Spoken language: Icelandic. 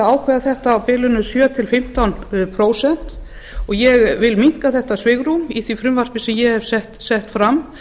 ákveða þetta á bilinu sjö til fimmtán prósent ég vil minnka þetta svigrúm í því frumvarpi sem ég hef sett fram